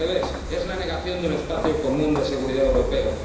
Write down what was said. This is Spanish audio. al revés, es la negación de un espacio común de seguridad europeo.